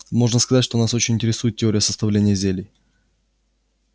можно сказать что нас очень интересует теория составления зелий